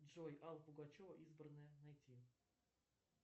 джой алла пугачева избранное найти